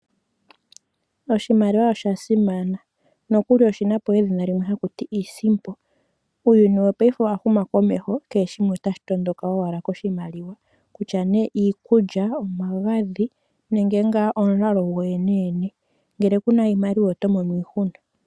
Oshimaliwa oshasimana no kuli oshina po edhina limwe haku ti iisimpo. Uuyuni wo payife owahuma komeho kehe shimwe otashi tondondoka owala koshimaliwa kutya nee iikulya , omagadhi nenge nga omulalo go yene yene ngele kuna iimaliwa otomo iihuna.